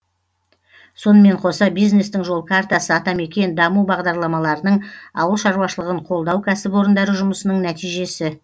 сонымен қоса бизнестің жол картасы атамекен даму бағдарламаларының ауыл шаруашылығын қолдау кәсіпорындары жұмысының нәтижесі